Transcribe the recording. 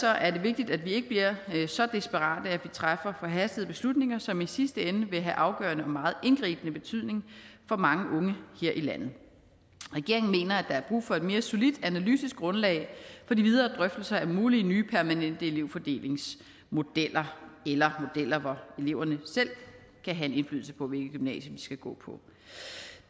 er det vigtigt at vi ikke bliver så desperate at vi træffer forhastede beslutninger som i sidste ende vil have afgørende og meget indgribende betydning for mange unge her i landet regeringen mener at der er brug for et mere solidt analytisk grundlag for de videre drøftelser af mulige nye permanente elevfordelingsmodeller eller modeller hvor eleverne selv kan have en indflydelse på hvilket gymnasie de skal gå på